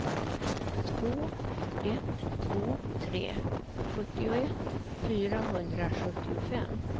två ett två tre sjuttioett fyrahundrasjuttiofem